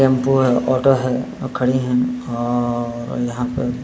Tempo है। Auto है। अ खड़ी है अ औ यहाँ पर --